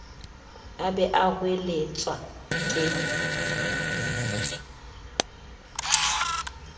a be a hoeletswa ke